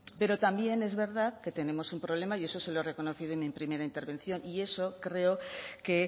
pero también es verdad que tenemos un problema y eso se lo reconocido en mi primera intervención y eso creo que